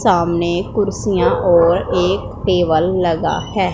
सामने कुर्सियां और एक टेबल लगा है।